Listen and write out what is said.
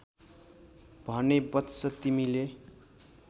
भने वत्स तिमीले